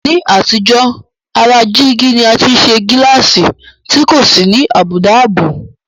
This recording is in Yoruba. Ní àtijọ́, ara jígí ni a ti ń ṣe gíláàsì tí kò sì ní àbùdá ààbò